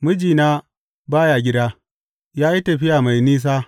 Mijina ba ya gida; ya yi tafiya mai nisa.